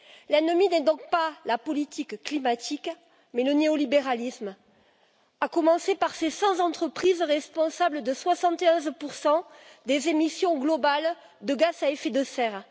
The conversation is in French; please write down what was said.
L'ennemi n'est donc pas la politique climatique mais le néolibéralisme, à commencer par ces 100 entreprises responsables de 71 des émissions globales de gaz à effet de serre.